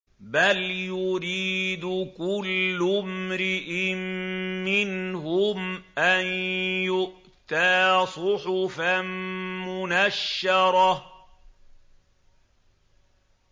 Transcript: بَلْ يُرِيدُ كُلُّ امْرِئٍ مِّنْهُمْ أَن يُؤْتَىٰ صُحُفًا مُّنَشَّرَةً